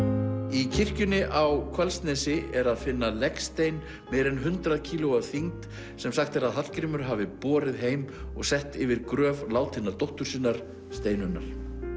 í kirkjunni á Hvalsnesi er að finna legstein meira en hundrað kíló að þyngd sem sagt er að Hallgrímur hafi borið heim og sett yfir gröf látinnar dóttur sinnar Steinunnar